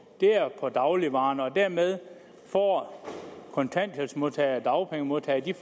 er på dagligvarerne og dermed får kontanthjælpsmodtagere og dagpengemodtagere en